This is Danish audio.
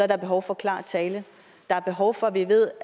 der behov for klar tale der er behov for at vi ved